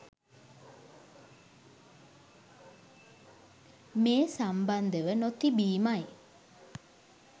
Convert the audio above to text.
මේ සම්බන්ධව නොතිබීමයි.